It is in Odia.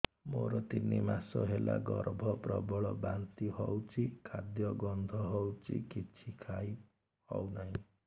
ମୋର ତିନି ମାସ ହେଲା ଗର୍ଭ ପ୍ରବଳ ବାନ୍ତି ହଉଚି ଖାଦ୍ୟ ଗନ୍ଧ ହଉଚି କିଛି ଖାଇ ହଉନାହିଁ